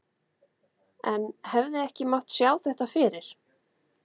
En hefði ekki mátt sjá þetta fyrir?